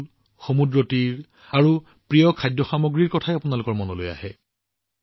স্বাভাৱিকতে গোৱাৰ নাম উল্লেখ কৰাৰ লগে লগে প্ৰথমে সুন্দৰ উপকূল সমুদ্ৰ তীৰ আৰু প্ৰিয় খাদ্য সামগ্ৰীৰ কথা মনলৈ আহে